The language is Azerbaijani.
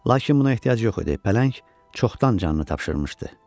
Lakin buna ehtiyac yox idi, pələng çoxdan canını tapşırmışdı.